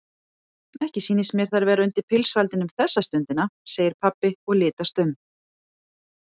Ekki sýnist mér þær vera undir pilsfaldinum þessa stundina segir pabbi og litast um.